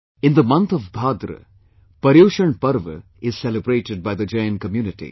In the month of Bhadra, ParyushanParva is celebrated by the Jain Community